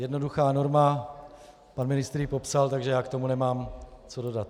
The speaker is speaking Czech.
Jednoduchá norma, pan ministr ji popsal, takže já k tomu nemám co dodat.